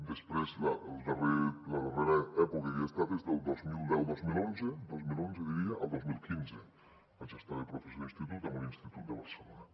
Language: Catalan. després la darrera època que hi he estat és del dos mil deu·dos mil onze dos mil onze diria al dos mil quinze vaig estar de professor d’institut en un institut de barcelona